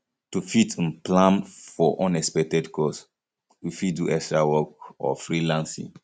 to fit um plan for unexpected cost we fit do extra work or freelancing